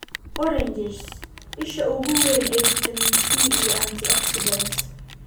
Oranges: Isha ugu weyn ee fiitamiin C iyo antioxidants.